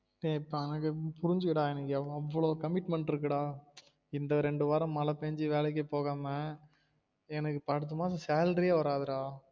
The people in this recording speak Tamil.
ஏ புரிஞ்சிக்கடா எனக்கு அவ்வளோ commitment இருக்கு டா இந்த ரெண்டு வாரம் மழ பெஞ்சி வேலைக்கே போகாம எனக்கு இப்ப அடுத்த மாசம் salary ஏ வராது டா